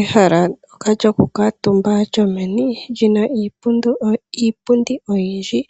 Ehala ndyoka lyokukuutumba lyomeni lyina iipundi oyindji